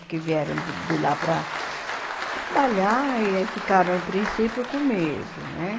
Porque vieram de de lá para trabalhar e aí ficaram no princípio comigo, né?